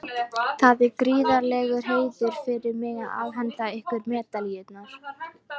Það er gríðarlegur heiður fyrir mig að afhenda ykkur medalíurnar.